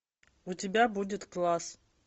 у тебя будет класс